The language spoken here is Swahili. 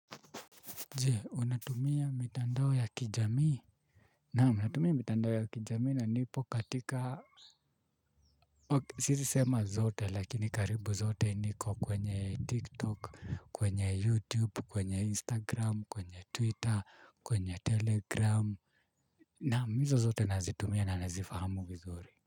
Je, unatumia mitandao ya kijamii? Naam, ninatumia mitandao ya kijamii na nipo katika siwezi sema zote, lakini karibu zote niko kwenye TikTok, kwenye YouTube, kwenye Instagram, kwenye Twitter, kwenye Telegram. Naam, hizo zote nazitumia na nazifahamu vizuri.